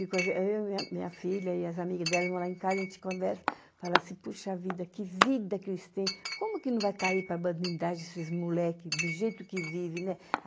Eu eu e a minha minha filha e as amigas delas vão lá em casa, a gente conversa, fala assim, poxa vida, que vida que eles têm, como que não vai cair para a bandidagem esses moleques do jeito que vive, né?